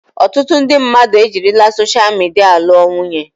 Ọtụtụ ndị mmadụ ejirila soshal midia lụọ nwunye.